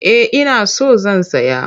Eh ina so zan saya.